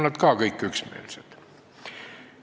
Nad kõik on ka selles üksmeelsed.